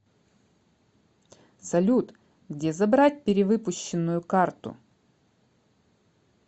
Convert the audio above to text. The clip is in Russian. салют где забрать перевыпущенную карту